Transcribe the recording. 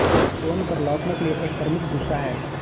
tone पर लौटने के लिए एक प्रमुख दूसरा है